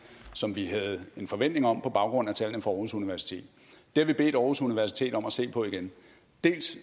som vi havde en forventning om på baggrund af tallene fra aarhus universitet det har vi bedt aarhus universitet om at se på igen dels